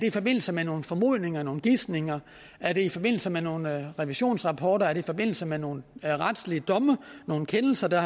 i forbindelse med nogle formodninger nogle gisninger er det i forbindelse med nogle revisionsrapporter er det i forbindelse med nogle retslige domme nogle kendelser der